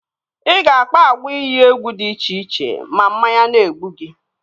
Ị ga-akpa agwa iyi egwu dị iche iche ma mmanya na-egbu gi